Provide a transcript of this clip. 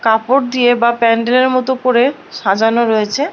কাপড় দিয়ে বা প্যান্ডেলের মত করে সাজানো রয়েছে।